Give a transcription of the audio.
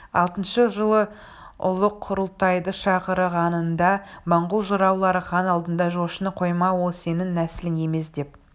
алтыншы жылы ұлы құрылтайды шақырғанында монғол жыраулары хан алдында жошыны қойма ол сенің нәсілің емесдеп